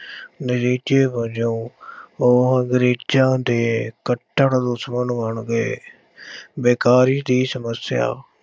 ਨਤੀਜੇ ਵਜੋਂ ਉਹ ਅੰਗਰੇਜ਼ਾਂ ਦੇ ਕੱਟੜ ਦੁਸ਼ਮਣ ਬਣ ਗਏ ਬੇਕਾਰੀ ਦੀ ਸਮੱਸਿਆ,